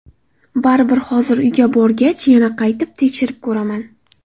Baribir hozir uyga borgach, yana qayta tekshirib ko‘raman.